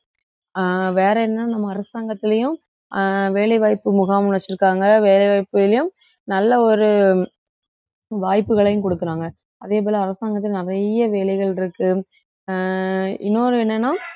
அஹ் வேற என்ன நம்ம அரசாங்கத்திலயும் அஹ் வேலை வாய்ப்பு முகாம் வச்சிருக்காங்க வேலை வாய்ப்புகளையும் நல்ல ஒரு வாய்ப்புகளையும் கொடுக்குறாங்க அதே போல அரசாங்கத்தில நிறைய வேலைகள் இருக்கு அஹ் இன்னொன்னு என்னன்னா